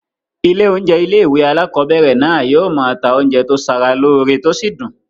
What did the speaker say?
Ilé oúnjẹ ilé-ìwé alákobẹ̀rẹ̀ náà yóò máa ta oúnjẹ tó sara lóore tó sì dùn